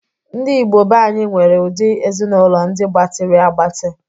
Ndi Igbo beanyi nwere udi Ezinụlọ ndị gbatịrị agbatị